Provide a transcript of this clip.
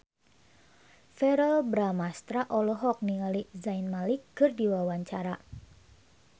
Verrell Bramastra olohok ningali Zayn Malik keur diwawancara